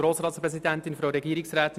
Nichteintreten